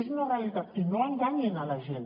és una realitat i no enganyin la gent